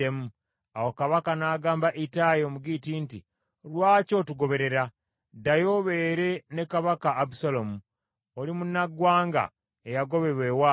Awo kabaka n’agamba Ittayi Omugitti nti, “Lwaki otugoberera? Ddayo obeere ne kabaka Abusaalomu. Oli munnaggwanga eyagobebwa ewaabwe.